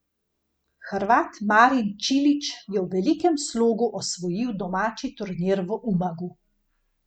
Hrvat Marin Čilić je v velikem slogu osvojil domači turnir v Umagu.